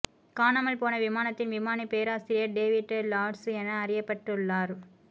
காணாமல் போன விமானத்தின் விமானி பேராசிரியர் டேவிட் லாஸ்ற் என அறியப்பட்டுள்ளார்